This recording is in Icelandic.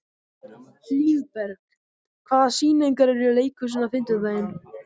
Hlíðberg, hvaða sýningar eru í leikhúsinu á fimmtudaginn?